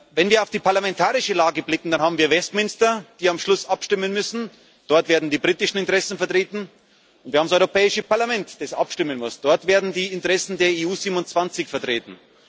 Wenn wir auf die parlamentarische Lage blicken, da haben wir Westminster, das am Schluss abstimmen muss dort werden die britischen Interessen vertreten und wir haben das Europäische Parlament, das abstimmen muss dort werden die Interessen der EU 27 vertreten.